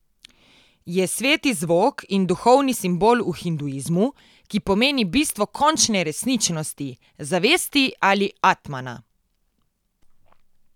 Je sveti zvok in duhovni simbol v hinduizmu, ki pomeni bistvo končne resničnosti, zavesti ali atmana.